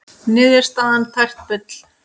Niðurstaðan tært bull